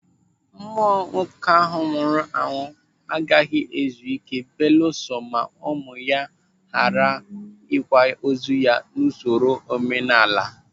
Mmụọ nwoke ahụ nwụrụ anwụ agaghị ezu ike belusọ ma ụmụ ya hà gara kwaa ozu n'usoro omenala.